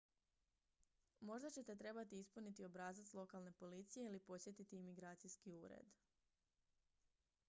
možda ćete trebati ispuniti obrazac lokalne policije ili posjetiti imigracijski ured